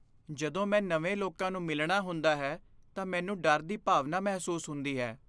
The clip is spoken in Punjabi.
ਜਦੋਂ ਮੈਂ ਨਵੇਂ ਲੋਕਾਂ ਨੂੰ ਮਿਲਣਾ ਹੁੰਦਾ ਹੈ ਤਾਂ ਮੈਨੂੰ ਡਰ ਦੀ ਭਾਵਨਾ ਮਹਿਸੂਸ ਹੁੰਦੀ ਹੈ।